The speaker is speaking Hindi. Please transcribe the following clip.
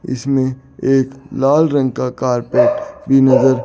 इसमें एक लाल रंग का कारपेट भी नज़र--